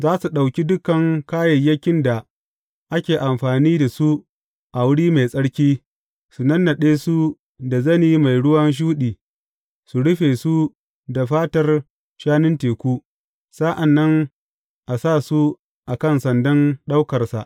Za su ɗauki dukan kayayyakin da ake amfani da su a wuri mai tsarki, su nannaɗe su da zane mai ruwan shuɗi, su rufe shi da fatar shanun teku, sa’an nan a sa su a kan sandan ɗaukarsa.